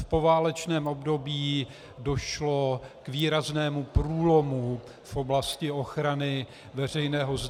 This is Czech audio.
V poválečném období došlo k výraznému průlomu v oblasti ochrany veřejného zdraví.